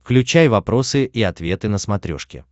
включай вопросы и ответы на смотрешке